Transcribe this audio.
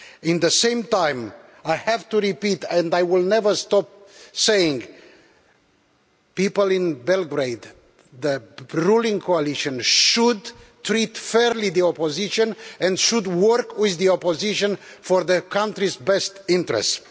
At the same time, I have to repeat, and I will never stop saying people in Belgrade, the ruling coalition, should treat the opposition fairly and should work with the opposition, in their country's best interests.